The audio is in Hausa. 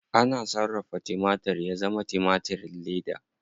Ana sarrafa timatir ya zama timatirin leda.